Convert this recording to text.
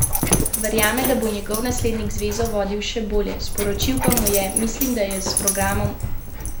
Verjame, da bo njegov naslednik zvezo vodil še bolje, sporočil pa mu je: "Mislim, da je s programom vse povedal.